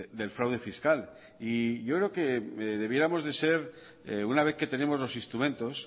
del fraude fiscal y yo creo que deberíamos de ser una vez que tenemos los instrumentos